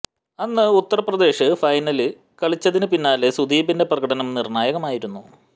അന്ന് ഉത്തര് പ്രദേശ് ഫൈനല് കളിച്ചതിന് പിന്നില് സുദീപിന്റെ പ്രകടനം നിര്ണ്ണായകമായിരുന്നു